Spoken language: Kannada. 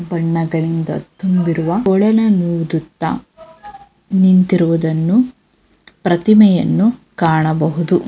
ಬಣ್ಣಗಳಿಂದ ತುಂಬಿರುವ ಕೊಳಲನೂದುತ್ತ ನಿಂತಿರುವುದನ್ನು ಪ್ರತಿಮೆಯನ್ನು ಕಾಣಬಹದು.